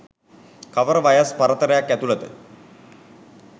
කවර වයස් පරතරයක් ඇතුළත